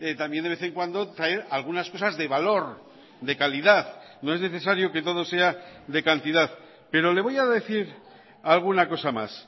también de vez en cuando traer algunas cosas de valor de calidad no es necesario que todo sea de cantidad pero le voy a decir alguna cosa más